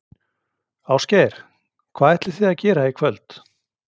Ásgeir: Hvað ætlið þið að gera í kvöld?